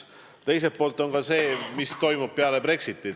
Teiselt poolt on tähtis ka see, mis toimub pärast Brexitit.